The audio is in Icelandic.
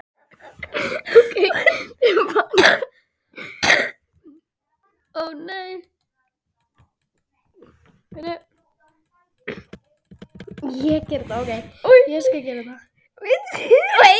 Hann kvað já við því.